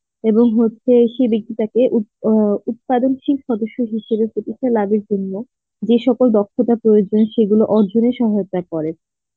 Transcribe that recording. এবং হচ্ছে সেই বেক্তি টাকে উত~ অ্যাঁ উৎপাদনশীল সদস্য হিসাবে প্রতিষ্ঠা লাভের জন্য যে সকল দক্ষতার প্রয়োজন সেগুলো অর্জনের সহায়তা করে.